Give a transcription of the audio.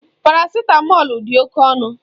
Parasitamọlu dị oké ọnụ.